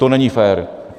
To není fér.